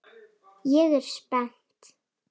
Ég er spennt.